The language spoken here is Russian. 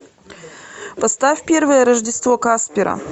поставь первое рождество каспера